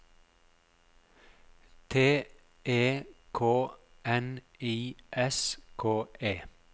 T E K N I S K E